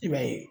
I b'a ye